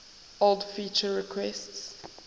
old feature requests